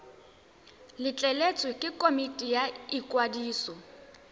letleletswe ke komiti ya ikwadiso